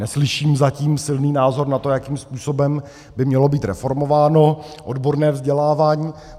Neslyším zatím silný názor na to, jakým způsobem by mělo být reformováno odborné vzdělávání.